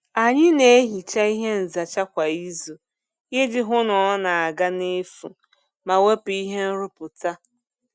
Anyị na-ehicha ihe nzacha kwa izu iji hụ na ọ na-aga n'efu ma wepụ ihe nrụpụta.